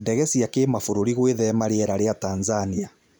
Ndege cia Kimabũrũri gũĩthema rĩera rĩa Tanzania.